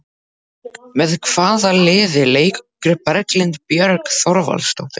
Með hvaða liði leikur Berglind Björg Þorvaldsdóttir?